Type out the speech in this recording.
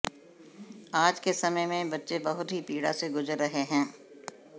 आज के समय में बच्चे बहुत ही पीड़ा से गुजर रहे हैं